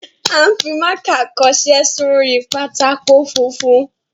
A ń fi mákà kọṣẹ́ sórí pátákó funfun.